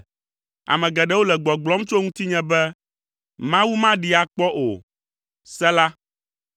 Ame geɖewo le gbɔgblɔm tso ŋutinye be, “Mawu maɖee akpɔ o.” Sela